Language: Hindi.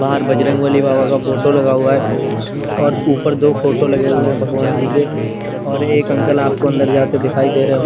बाहर बजरंग बली बाबा का फोटो लगा हुआ है और उपर दो फोटो लगे हुए भगवान जी के और एक अंकल आपको अन्दर जाते दिखाई देरे--